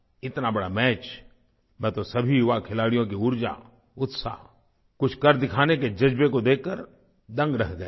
इतना बड़ा मैच मैं तो सभी युवा खिलाड़ियों की ऊर्जा उत्साह कुछ कर दिखाने के जज़्बे को देखकर दंग रह गया था